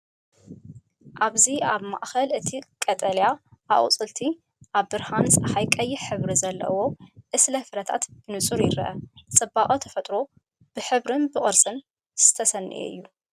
እዚ ኣብ ማእከል እቲ ቀጠልያ ኣቝጽልቲ፡ ኣብ ብርሃን ጸሓይ ቀይሕ ሕብሪ ዘለዎ ዕስለ ፍረታት ብንጹር ይርአ። ጽባቐ ተፈጥሮ ብሕብርን ቅርጽን ዝተሰነየ እዩ።